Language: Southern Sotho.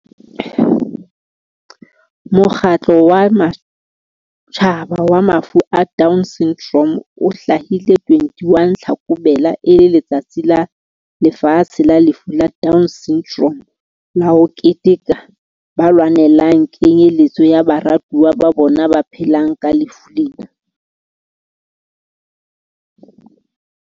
Mokgatlo wa Matjhaba wa Mafu a Down Syndrome o hlwahile 21 Tlhakubele e le Letsatsi la Lefatshe la Lefu la Down Syndrome la ho keteka ba lwanelang kenyelletso ya baratuwa ba bona ba phelang ka lefu lena.